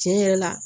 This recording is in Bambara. Tiɲɛ yɛrɛ la